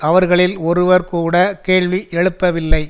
அவர்களில் ஒருவர் கூட கேள்வி எழுப்பவில்லை